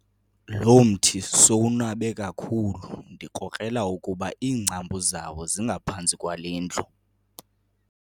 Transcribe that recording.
Lo mthi sowunabe kakhulu ndikrokrela ukuba iingcambu zawo zingaphantsi kwale ndlu.